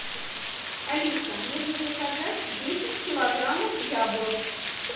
алиса нужно заказать десять килограммов яблок